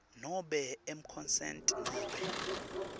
nobe emaconsent nobe